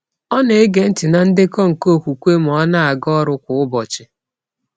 Ọ na-ege ntị na ndekọ nke okwukwe ma ọ na-aga ọrụ kwa ụbọchị.